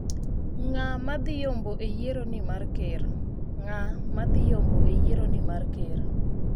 Ng'a ma dhi yombo e yiero ni mar ker